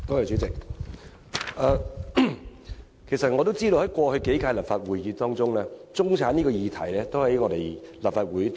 主席，我知道過去數屆立法會已多次討論中產這個議題。